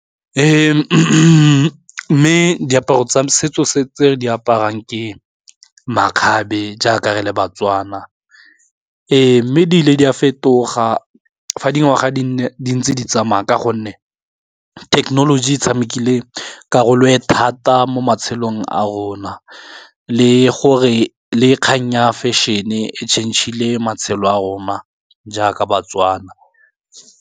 Mme diaparo tsa setso tse re di aparang ke makgabe jaaka re le baTswana mme di ile di a fetoga fa dingwaga di le dintsi di tsamaye ka gonne thekenoloji e tshamekile karolo le thata mo matshelong a rona, le gore le kgang ya fashion-e changile matshelo a rona jaaka ba-Tswana.